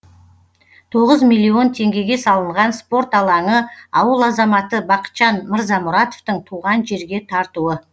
тоғыз миллион теңгеге салынған спорт алаңы ауыл азаматы бақытжан мырзамұратовтың туған жерге тартуы